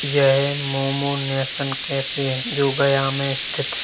यह momo nation cafe है जो गया मे स्थित--